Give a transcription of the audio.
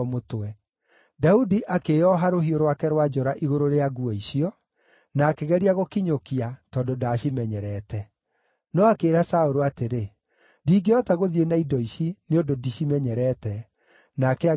Daudi akĩĩoha rũhiũ rwake rwa njora igũrũ rĩa nguo icio, na akĩgeria gũkinyũkia, tondũ ndaacimenyerete. No akĩĩra Saũlũ atĩrĩ, “Ndingĩhota gũthiĩ na indo ici, nĩ ũndũ ndicimenyerete.” Nake agĩciruta.